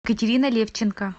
катерина левченко